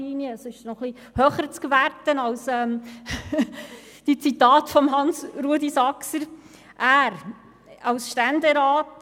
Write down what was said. seine Aussagen sind noch etwas höher zu werten als die von Grossrat Saxer zitierten.